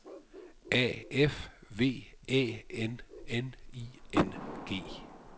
A F V Æ N N I N G